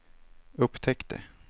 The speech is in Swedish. upptäckte